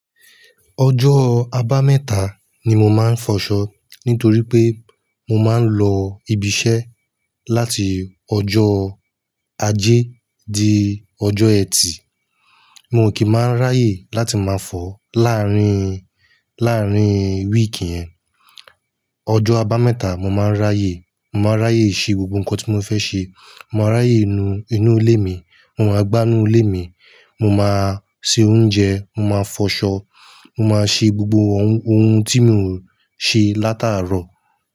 Ọjọ́ aba mẹ́ta ni mo máa ń fọṣọ nítorí pé mo máa ń lọ ibi iṣẹ́ láti ọjọ́ ajé di ọjọ́ ẹtì. Mo kì í máa ráyè láti máa fọ láàárín, láàárín wíìkì yẹn. Ọjọ́ aba mẹ́ta mo máa ń ráyè, mo máa ń ráyè ṣe gbogbo nǹkan tí mo fẹ́ ṣe. Mo máa ráyè nu inú ilé mi, mo máa gbá inú ilé mi, mo máa se oúnjẹ, mo máa fọṣọ, mo máa ṣe gbogbo ohun, ohun tí n ò ṣe látàárọ̀.